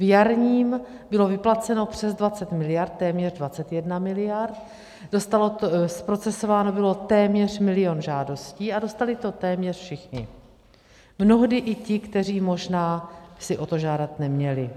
V jarním bylo vyplaceno přes 20 miliard, téměř 21 miliard, zprocesováno bylo téměř milion žádostí a dostali to téměř všichni, mnohdy i ti, kteří možná si o to žádat neměli.